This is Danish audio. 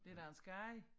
Det da en skade